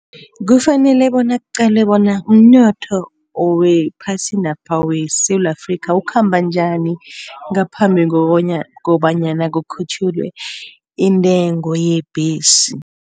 Kufanele bona kuqalwe bona umnotho wephasinapha weSewula Afrikha ukhamba njani ngaphambi kobanyana kukhutjhulwe intengo yebhesi.